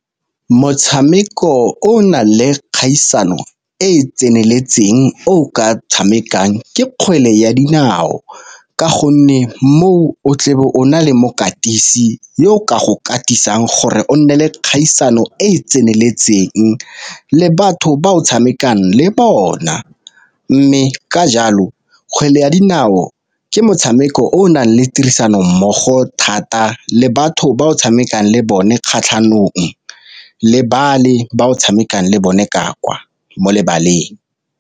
Motshameko o o nang le kgaisano e e tseneletseng o ka tshamekang ke kgwele ya dinao ka gonne moo, o tle o na le mokatisi yo o ka go katisiwang gore o nne le kgaisano e e tseneletseng le batho ba o tshamekang le bona. Mme ka jalo kgwele ya dinao motshameko o o nang le tirisano mmogo thata le batho ba o tshamekang le bone kgatlhanong, le bale ba o tshamekang le bone ka kwa mo lebaleng.